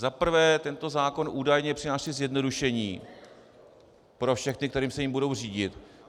Za prvé, tento zákon údajně přináší zjednodušení pro všechny, kteří se jím budou řídit.